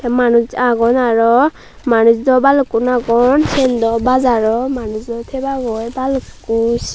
manuj agon aro manuj do balukkun agon siyen daw bajar obo manujo tebak aro balukko.